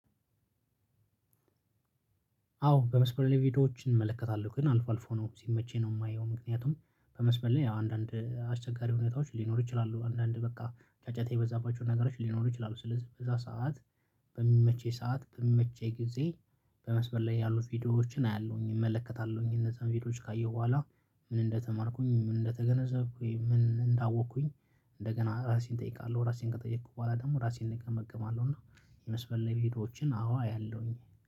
አዎ በመስመር ላይ ቪዲዮዎችን እመለከታለሁ ግን አልፎ አልፎ ነው ሲመቸኝ ነው የማየው። ምክንያቱም በመስመር አንዳንድ አስቸጋሪ ሁኔታዎች ሊኖሩ ይችላሉ አንዳንድ በቃ ጫጫታ የበዛባቸውን ነገሮች ሊኖሩ ይችላሉ። ስለዚህ በዛ ሰዓት በሚመቸኝ ሰዓት በሚመቸኝ ጊዜ በመስመር ላይ ያሉት ቪዲዮዎችን አያለሁኝ እመለከታለሁኝ። እነዛን ቪዲዮዎች ካየሁ በኋላ ምን እንደተማርኩኝ ምን እንደተገነዘብኩኝ ምን እንዳወቅኩኝ እንደገና ራሴን እጠይቃለሁ ራሴን ከጠየኩ በኋላ ደግሞ ራሴን እንደገና እገመግማለሁ። እና የመስመር ላይ ቪዲዮዎችን አዎ አያለሁኝ